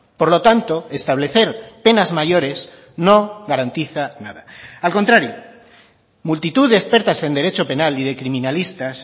por lo tanto establecer penas mayores no garantiza nada al contrario multitud de expertas en derecho penal y de criminalistas